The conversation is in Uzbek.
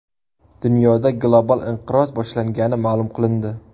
Dunyoda global inqiroz boshlangani ma’lum qilindi.